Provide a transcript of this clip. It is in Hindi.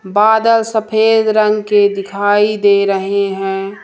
बादल सफेद रंग के दिखाई दे रहे हैं।